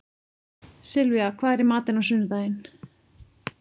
Sylvía, hvað er í matinn á sunnudaginn?